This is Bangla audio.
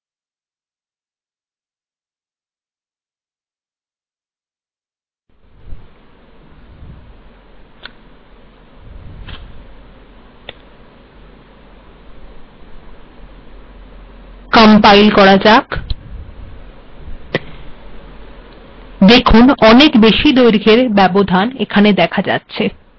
আমরা আরো বেশী দৈর্ঘ্যের স্পেস চাইলে hspace কমান্ড ব্যবহার করতে পারি